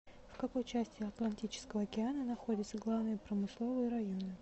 в какой части атлантического океана находятся главные промысловые районы